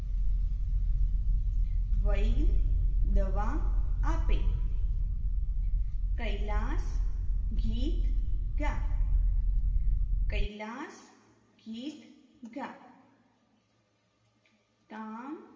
વૈધ દવા આપે કૈલાસ ગીત ગા કૈલાસ ગીત ગા કામ